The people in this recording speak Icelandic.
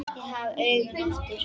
Ég hef augun aftur.